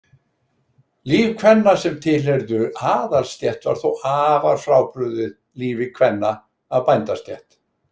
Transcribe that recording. Líf kvenna sem tilheyrðu aðalsstétt var þó afar frábrugðið lífi kvenna af bændastétt.